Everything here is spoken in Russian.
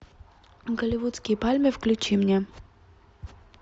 голливудские пальмы включи мне